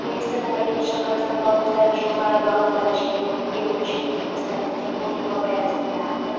билігі кәмелетке толмағандар мен асқан қарияларға қажылық жасауға тыйым салған болатын ал бірнеше жыл өткен